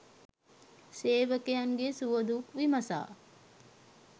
සේවකයින්ගේ සුවදුක් විමසා